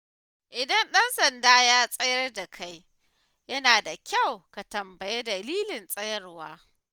Idan ɗan sanda ya tsayar da kai, yana da kyau ka tambayi dalilin tsayawar.